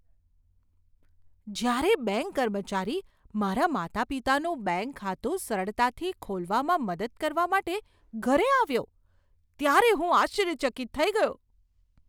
જ્યારે બેંક કર્મચારી મારા માતાપિતાનું બેંક ખાતું સરળતાથી ખોલવામાં મદદ કરવા માટે ઘરે આવ્યો, ત્યારે હું આશ્ચર્યચકિત થઈ ગયો.